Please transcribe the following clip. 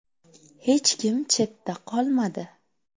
Hech kim chetda qolmadi.